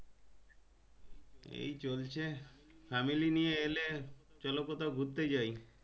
এই চলছে family নিয়ে এলে চলো কোথাও ঘুরতে যাই